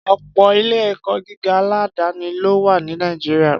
Ọ̀pọ̀ ilé-ẹ̀kọ́ gíga aládàáni ló wà ní Nàìjíríà